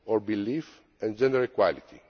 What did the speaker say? belief and gender equality.